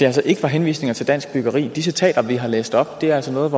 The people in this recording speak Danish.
altså ikke var henvisninger til dansk byggeri de citater vi har læst op er altså noget